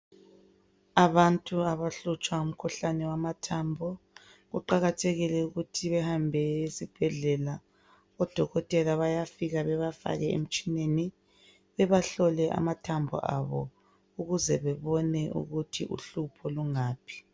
Abantu abahlutshwa ngumkhuhlane wamathambo, kuqakathekile ukuthi behambe esibhedlela, oDokotela bayafika bebafake emtshineni bebahlole amathambo abo ukuze bebone ukuthi uhlupho lungaphi.